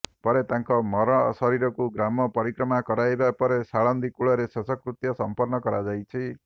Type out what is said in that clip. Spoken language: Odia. ପରେ ତାଙ୍କ ମରଶରୀରକୁ ଗ୍ରାମ ପରିକ୍ରମା କରାଇବା ପରେ ସାଳନ୍ଦୀ କୁଳରେ ଶେଷକୃତ୍ତ୍ୟ ସମ୍ପର୍ଣ୍ଣ କରାଯାଇଛି